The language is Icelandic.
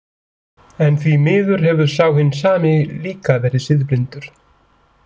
En því miður hefur sá hinn sami líka verið siðblindur.